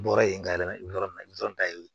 Bɔra yen ka yɛlɛma yɔrɔ min na i dɔrɔn ta ye